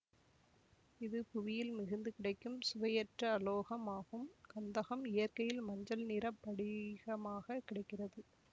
இது புவியில் மிகுந்து கிடைக்கும் சுவையற்ற அலோகம் ஆகும் கந்தகம் இயற்கையில் மஞ்சள் நிற படிகமாகக் கிடைக்கிறது